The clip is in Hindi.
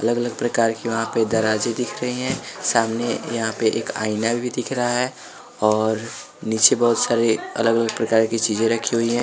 अलग-अलग प्रकार की वहाँ पे दराजे दिख रही है सामने यहाँ पे एक आईना भी दिख रहा है और नीचे बहुत सारे अलग-अलग प्रकार की चीजें रखी हुई हैं।